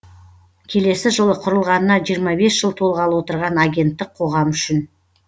келесі жылы құрылғанына жиырма бес жыл толғалы отырған агенттік қоғам үшін